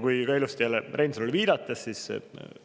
Kui ilusti Reinsalule viidata, siis